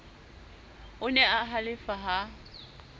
o ne a halefa ha